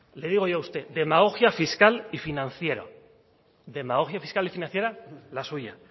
le digo yo a usted demagogia fiscal y financiera demagogia fiscal y financiera la suya